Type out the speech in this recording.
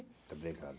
Muito obrigado.